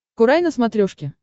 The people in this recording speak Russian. курай на смотрешке